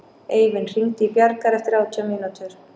Eivin, hringdu í Bjargar eftir átján mínútur.